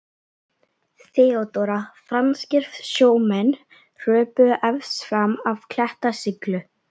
THEODÓRA: Franskir sjómenn hröpuðu efst fram af klettasyllu.